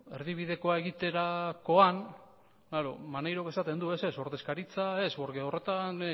erdibidekoa egiterakoan maneiro esaten du ez ez ordezkaritza ez horretan